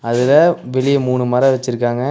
அதுல வெளிய மூணு மரோ வச்சிருக்காங்க.